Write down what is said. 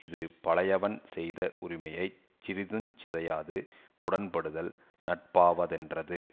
இது பழையவன் செய்த உரிமையை சிறிதுஞ் சிதையாது உடன்படுதல் நட்பாவதென்றது